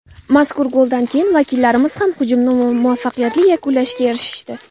Mazkur goldan keyin vakillarimiz ham hujumni muvaffaqiyatli yakunlashga erishishdi.